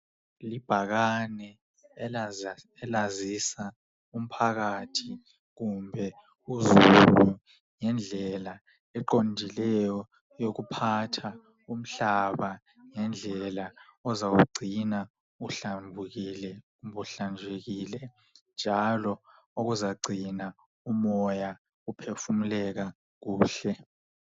Ibhakane elazisa umphakathi kumbe uzulu ngendlela eqondileyo eyokuphatha umhlaba ngendlela ozawugcina uhlambulukile, njalo okuzakugcina umoya uphefumuleka kakuhle.